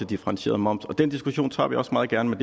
differentieret moms og den diskussion tager vi også meget gerne